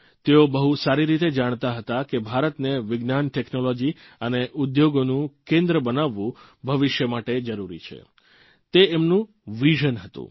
તેઓ બહુ સારી રીતે જાણતા હતા કે ભારતને વિજ્ઞાન ટેકનોલોજી અને ઉદ્યોગોનું કેન્દ્ર બનાવવું ભવિષ્ય માટે જરૂરી છે તે એમનું જ વિઝન હતું